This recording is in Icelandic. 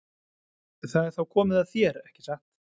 Það er þá komið að þér, ekki satt?